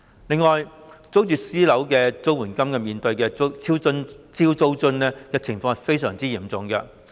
此外，租住私樓的綜援戶面對的"超租津"情況也相當嚴重。